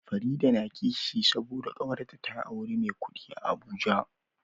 Farida na kishi saboda kawarta ta auri me kudi a abuja